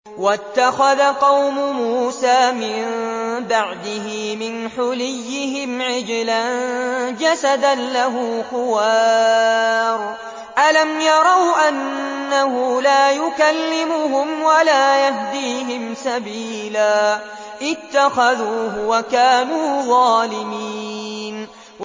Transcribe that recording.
وَاتَّخَذَ قَوْمُ مُوسَىٰ مِن بَعْدِهِ مِنْ حُلِيِّهِمْ عِجْلًا جَسَدًا لَّهُ خُوَارٌ ۚ أَلَمْ يَرَوْا أَنَّهُ لَا يُكَلِّمُهُمْ وَلَا يَهْدِيهِمْ سَبِيلًا ۘ اتَّخَذُوهُ وَكَانُوا ظَالِمِينَ